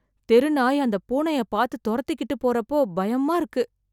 தெருநாய் அந்த பூனைய பார்த்து தொரத்துக்கிட்டு போறப்போ அப்போ பயமா இருக்கு